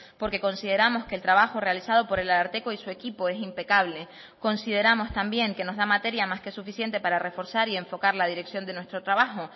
porque consideramos que el trabajo realizado por el ararteko y su equipo es impecable consideramos también que nos da materia más que suficiente para reforzar y enfocar la dirección de nuestro trabajo